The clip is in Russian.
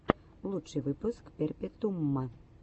лучший выпуск перпетуума